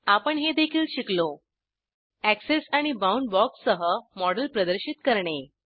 आपण हे देखील शिकलो एक्सेस आणि बाउंड बॉक्ससह मॉडेल प्रदर्शित करणे